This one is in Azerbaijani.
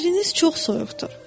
Yeriniz çox soyuqdur.